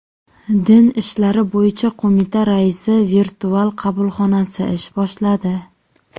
Din ishlari bo‘yicha qo‘mita raisi virtual qabulxonasi ish boshladi.